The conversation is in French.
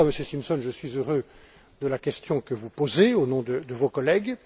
Voilà pourquoi, Monsieur Simpson, je suis heureux de la question que vous posez, au nom de vos collègues.